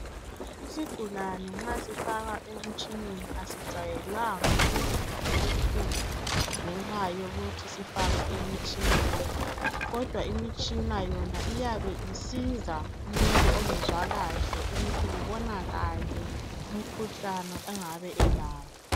Isigulane nxa sifakwa emtshineni asijwayelanga ukuzwa ubuhlungu ngenxa yokuthi sifakwe emtshineni kodwa imitshina yona iyabe isiza umuntu ongezwa kahle ukuthi kubonakale umkhuhlane angabe elawo.